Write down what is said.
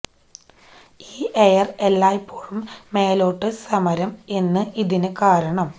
ഈ എയർ എല്ലായ്പ്പോഴും മേലോട്ടു സമരം എന്ന് ഇതിന് കാരണം